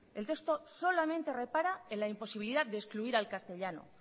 el texto solamente repara en la imposibilidad de excluir al castellano